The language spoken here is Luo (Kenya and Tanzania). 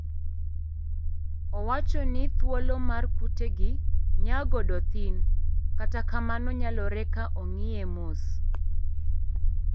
Owachoni thuolo mar kute gi nyaa godo thin, kata kamano nyalore ka ong'ie mos.